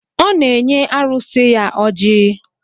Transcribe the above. Ọ na-enye arụsị ya oji